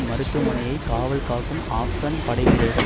மருத்துவமனையை காவல் காக்கும் ஆப்கன் படை வீரர்கள்